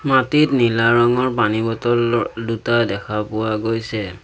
মাটিত নীলা ৰঙৰ পানী বটল ৰ দুটা দেখা পোৱা গৈছে।